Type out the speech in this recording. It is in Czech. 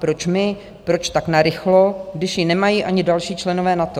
Proč my, proč tak narychlo, když ji nemají ani další členové NATO?